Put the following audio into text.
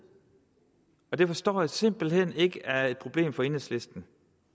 og det forstår jeg simpelt hen ikke er et problem for enhedslisten